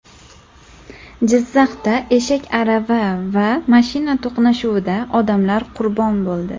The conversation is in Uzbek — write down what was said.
Jizzaxda eshak arava va mashina to‘qnashuvida odamlar qurbon bo‘ldi.